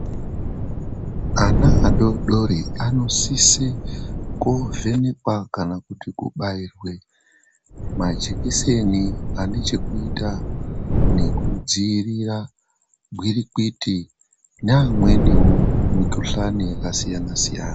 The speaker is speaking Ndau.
Ana adoodori anosise kovhenekwa kana kobairwe majikiseni ane chekuita ngekudziirira gwirikwiti neamweniwo emikuhlani yakasiyana-siyana.